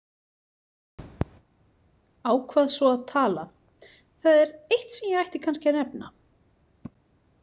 Ákvað svo að tala: Það er eitt sem ég ætti kannski að nefna.